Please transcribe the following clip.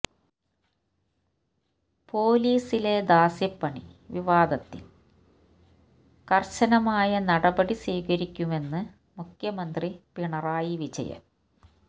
പോലീസിലെ ദാസ്യപണി വിവാദത്തില് കര്ശനമായ നടപടി സ്വീകരിക്കുമെന്ന് മുഖ്യമന്ത്രി പിണറായി വിജയന്